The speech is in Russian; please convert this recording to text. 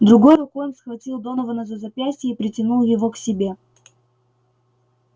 другой рукой он схватил донована за запястье и притянул его к себе